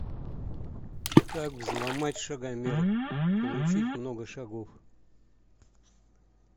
как взломать шагомер получить много шагов